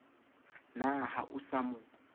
na ha o sa mo